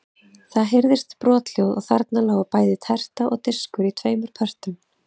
Það heyrðist brothljóð og þarna lágu bæði terta og diskur í tveimur pörtum.